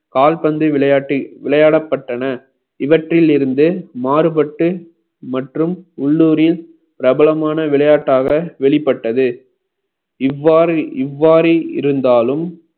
கால்பந்து விளையாட்டில் விளையாடப்பட்டன இவற்றில் இருந்து மாறுபட்டு மற்றும் உள்ளூரில் பிரபலமான விளையாட்டாக வெளிப்பட்டது இவ்வாறு இவ்வாறு இருந்தாலும்